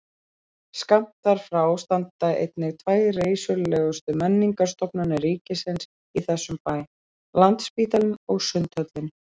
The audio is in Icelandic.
Skammt þar frá standa einnig tvær reisulegustu menningarstofnanir ríkisins í þessum bæ, landsspítalinn og sundhöllin.